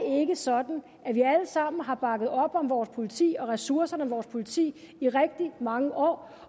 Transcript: ikke sådan at vi alle sammen har bakket op om vores politi og ressourcerne til vores politi i rigtig mange år